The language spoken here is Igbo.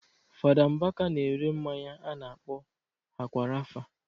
Fada Mbaka na-ere mmanya a na-akpọ Akwa Rafa